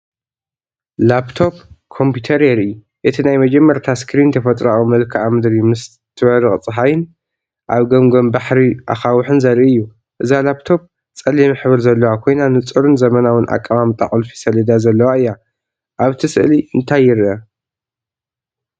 ላፕቶፕ ኮምፒተር የርኢ። እቲ ናይ መጀመርታ ስክሪን ተፈጥሮኣዊ መልክዓ ምድሪ ምስ ትበርቕ ጸሓይን ኣብ ገምገም ባሕሪ ኣኻውሕን ዘርኢ እዩ። እዛ ላፕቶፕ ጸሊም ሕብሪ ዘለዋ ኮይና ንጹርን ዘመናውን ኣቀማምጣ ቁልፊ ሰሌዳ ዘለዋ እያ። ኣብ ስእሊ እንታይ ይርአ?